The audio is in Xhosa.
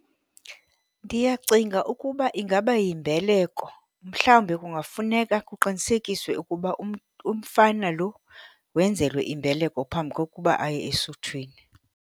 Ndiyacinga ukuba ingaba yimbeleko. Mhlawumbe kungafuneka kuqinisekiswe ukuba umfana lo wenzelwe imbeleko phambi kokuba aye esuthwini.